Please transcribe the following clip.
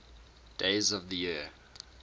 days of the year